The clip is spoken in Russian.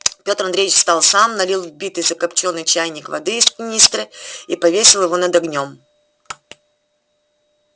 петр андреевич встал сам налил в битый закопчённый чайник воды из канистры и повесил его над огнём